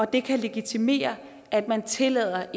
det kan legitimere at man tillader